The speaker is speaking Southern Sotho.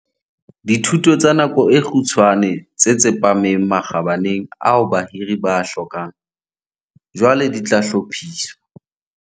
Dithuto tsa nako e kgutshwane tse tsepameng makgabaneng ao bahiri ba a hlokang, jwale di tla hlophiswa.